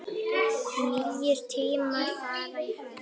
Nýir tímar fara í hönd